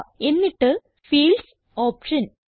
എന്നിട്ട് fields option